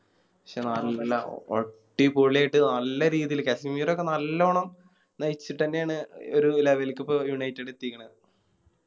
ശേ നല്ല അടിപൊളിയായിട്ട് നല്ല രീതില് കസങ്ങരക്കെ നല്ലണം നയിച്ചിട്ടെന്നെയാണ് ഒര് Level ക്ക് പോ United എത്തിക്കണത്